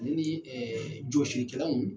Nin de ye ɛɛ jɔsilikɛlaw